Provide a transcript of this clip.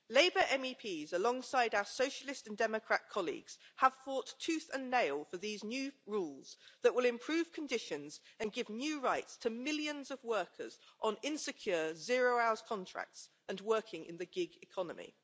Labour MEPs, alongside our Socialist and Democrat colleagues, have fought tooth and nail for these new rules that will improve conditions and give new rights to millions of workers on insecure zero-hours contracts and working in the gig economy.